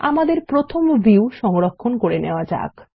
আমাদের প্রথম ভিউ সংরক্ষণ করে নেওয়া যাক